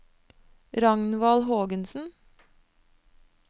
Ragnvald Hågensen